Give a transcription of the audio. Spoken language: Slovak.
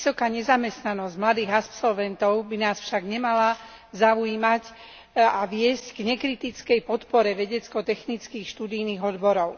Vysoká nezamestnanosť mladých absolventov by nás však nemala zaujímať a viesť k nekritickej podpore vedecko technických študijných odborov.